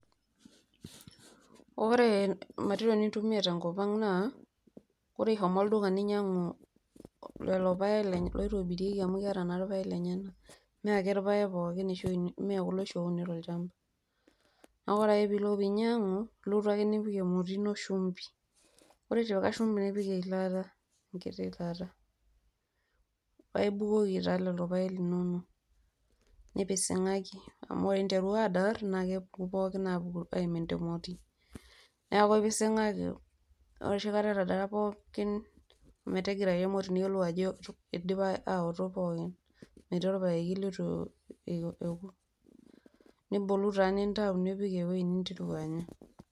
Oree material nintumiya tenkopang naa kore ishomo olduka niinyang'u lelo paek loitobirieki amu ketae naa naa irpaek lenyena mee ake irpaek pooki mee kulo oshi ouni tolshamba, naaku ore ake piilo niinyang'u ulotu ake niipik emoti ino shumpin, ore itipika ishumpi nipik ilata nkiti kata paa ibukoki taa lelo irpaek linonook, nipising'aki amu ore intarua aadar naa kepuku pooki aapuku naa aimin te moti, naaku ipising'aki, ore oshi nechi kata etadara pookin metigirai emoti niyiolou ajoo eidipa aoto pookin, metii orpaeki letu eiko eku nibolu taaa nintau apik eweji nintereu aaanya.